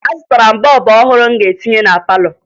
Azụtara m bọọbụ ọhụrụ m ga-etinye na palọ